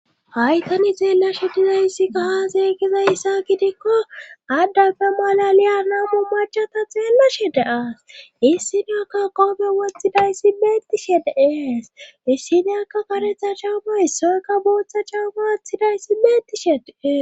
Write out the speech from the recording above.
Hay tani xeellashe dizayssi kaha zeeygizayssa gidikko addafe malaliya naabu machata xeellashe deas issidaakka qoobe wotxidayssi meettishe deees issineakka karetha chawama issoyakka booththa cawama aththidayssi meettishe dee.